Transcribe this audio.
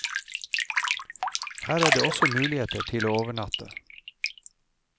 Her er også muligheter til å overnatte.